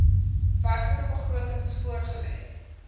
werklike begrotings voorgelê